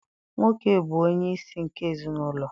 Nwoke bụ onyeisi nke ezinaụlọ.